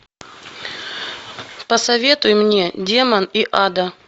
посоветуй мне демон и ада